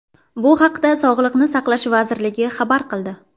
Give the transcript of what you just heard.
Bu haqda Sog‘liqni saqlash vazirligi xabar qildi .